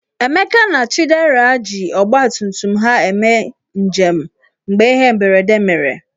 Emeka na Chidera ji ọgbatumtum ha eme njem mgbe ihe mberede mere.